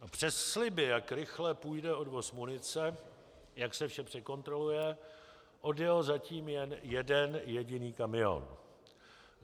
Přes sliby, jak rychle půjde odvoz munice, jak se vše překontroluje, odjel zatím jen jeden jediný kamion.